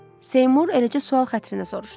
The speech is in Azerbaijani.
Seymur eləcə sual xətrinə soruşdu.